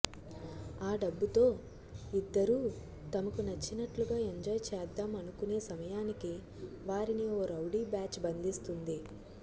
ఆ డబ్బుతో ఇద్దరూ తమకు నచ్చినట్లుగా ఎంజాయ్ చేద్దాం అనుకునే సమయానికి వారిని ఓ రౌడీ బ్యాచ్ బంధిస్తుంది